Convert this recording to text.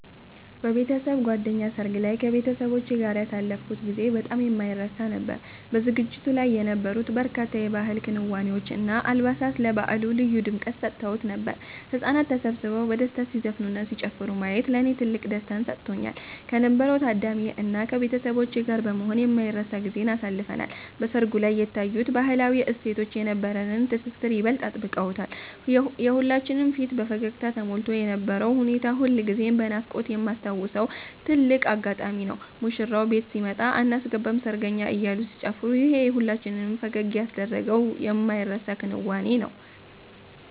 በቤተሰብ ጓደኛ ሰርግ ላይ ከቤተሰቦቼ ጋር ያሳለፍኩት ጊዜ በጣም የማይረሳ ነበር። በዝግጅቱ ላይ የነበሩት በርካታ የባህል ክዋኔዎች እና አልባሳት ለበዓሉ ልዩ ድምቀት ሰጥተውት ነበር። ህጻናት ተሰብስበው በደስታ ሲዘፍኑና ሲጨፍሩ ማየት ለኔ ትልቅ ደስታን ሰጥቶኛል። ከነበረው ታዳሚ እና ከቤተሰቦቼ ጋር በመሆን የማይረሳ ጊዜን አሳልፈናል። በሰርጉ ላይ የታዩት ባህላዊ እሴቶች የነበረንን ትስስር ይበልጥ አጥብቀውታል። የሁላችንም ፊት በፈገግታ ተሞልቶ የነበረው ሁኔታ ሁልጊዜም በናፍቆት የማስታውሰው ትልቅ አጋጣሚ ነው። ሙሽራው ቤት ሲመጣ አናስገባም ሰርገኛ አያሉ ሲጨፋሩ ይሄ ሁላችንም ፈገግ ያስደረገው የማይረሳ ክንዋኔ ነው